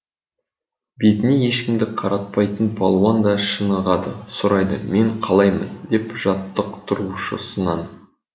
бетіне ешкімді қаратпайтын палуан да шынығады сұрайды мен қалаймын деп жаттықтырушысынан